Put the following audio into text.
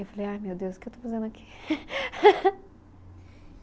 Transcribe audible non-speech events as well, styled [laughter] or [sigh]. Eu falei, ai meu Deus, o que eu estou fazendo aqui? [laughs]